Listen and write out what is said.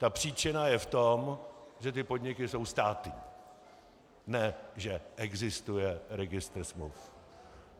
Ta příčina je v tom, že ty podniky jsou státní, ne že existuje registr smluv.